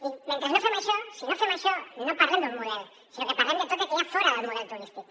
i mentre no fem això si no fem això no parlem d’un model sinó que parlem de tot el que hi ha fora del model turístic